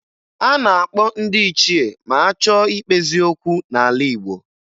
A na-akpọ ndị ichie ma a chọọ ikpezi okwu n'ala Igbo